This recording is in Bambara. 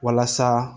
Walasa